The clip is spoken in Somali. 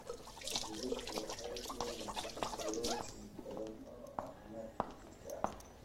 Digirta waxay leeyihiin borotiin badan oo caafimaadka jidhka ah.